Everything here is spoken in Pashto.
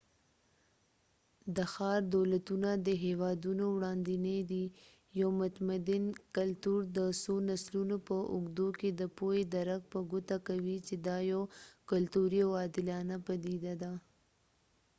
د ښار دولتونه د هیوادونو وړاندینې دي یو متمدن کلتور د څو نسلونو په اوږدو کې د پوهې درک په ګوته کوي چې دا یوه کلتوري او عادلانه پدیده ده